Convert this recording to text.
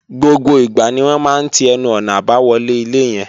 Gbogbo ìgbà ni wọ́n máa ń ti ẹnu-ọ̀nà àbáwọlé ilé yẹn